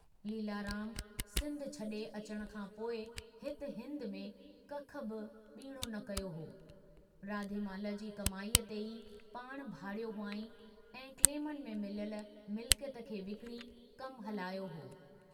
लीलाराम सिन्धु छड़े अचण खां पोइ हित हिन्द में कख बि बीणो न कयो हो, राधेमल जी कमाईअ ते ई पाणु भाड़ियो हुआंईं या क्लेमनि में मिलियल मिलिकियत खे विकणी कमु हलायो हो।